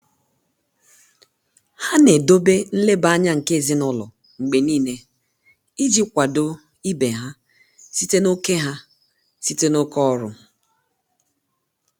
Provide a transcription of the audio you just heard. há nà-édòbé nlèbá ányá nké èzínụ́lọ́ mgbè níílé ìjí kwàdò íbé há sìté n’óké há sìté n’óké ọ́rụ́.